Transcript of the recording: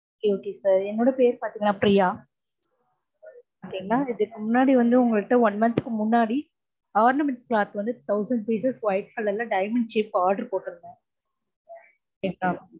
okay ஆஹ் என்னொட பேர் வந்து பாத்திங்கனா ப்ரியா okay ங்கலா இதுக்கு முன்னாடி வந்து உங்க கிட்ட one month க்கு முன்னாடி ornamentscloth ல வந்து thousand rupees க்கு white color ல diamond shape order போட்டிருந்தேன்